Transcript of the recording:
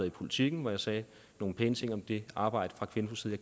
i politiken hvor jeg sagde nogle pæne ting om det arbejde fra kvinfos side